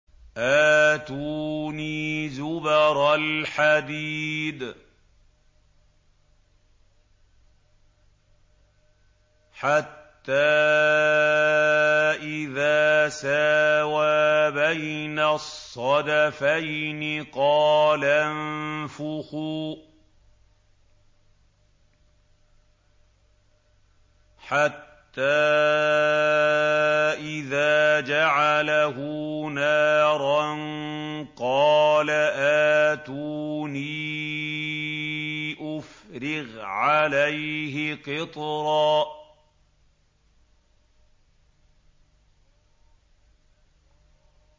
آتُونِي زُبَرَ الْحَدِيدِ ۖ حَتَّىٰ إِذَا سَاوَىٰ بَيْنَ الصَّدَفَيْنِ قَالَ انفُخُوا ۖ حَتَّىٰ إِذَا جَعَلَهُ نَارًا قَالَ آتُونِي أُفْرِغْ عَلَيْهِ قِطْرًا